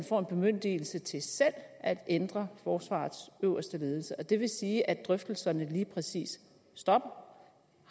får en bemyndigelse til selv at ændre forsvarets øverste ledelse og det vil sige at drøftelserne lige præcis stopper